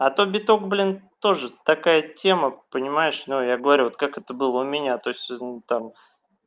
а то биток блин тоже такая тема понимаешь ну я говорю вот как это было у меня то есть там